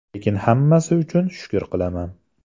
Lekin hammasi uchun shukr qilaman.